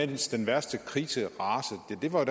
den værste krise rasede ja det var